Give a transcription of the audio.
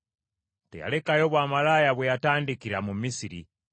Teyalekayo bwamalaaya bwe yatandikira mu Misiri.